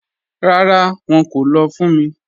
Ràrá, wọn kò lọ́ fún mí.